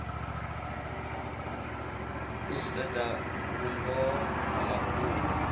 u sedza vhungoho ha mafhungo